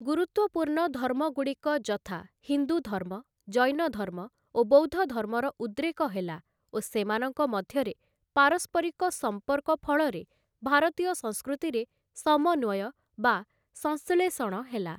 ଗୁରୁତ୍ଵପୂର୍ଣ୍ଣ ଧର୍ମଗୁଡ଼ିକ ଯଥା ହିନ୍ଦୁଧର୍ମ, ଜୈନଧର୍ମ ଓ ବୌଦ୍ଧଧର୍ମର ଉଦ୍ରେକ ହେଲା ଓ ସେମାନଙ୍କ ମଧ୍ୟରେ ପାରସ୍ପରିକ ସମ୍ପର୍କ ଫଳରେ ଭାରତୀୟ ସଂସ୍କୃତିରେ ସମନ୍ୱୟ ବା ସଂଶ୍ଳେଷଣ ହେଲା ।